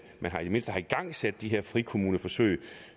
mindste har igangsat de her frikommuneforsøg